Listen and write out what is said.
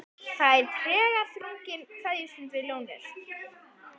Það er tregaþrungin kveðjustund við lónið.